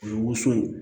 O ye woson ye